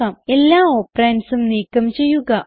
എല്ലാ operandsഉം നീക്കം ചെയ്യുക